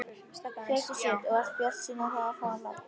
Hjördís Rut: Og ertu bjartsýnn á það að fá lóð?